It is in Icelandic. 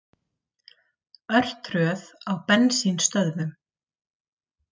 Örtröð á bensínstöðvum